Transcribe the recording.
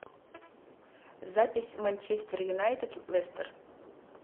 запись манчестер юнайтед лестер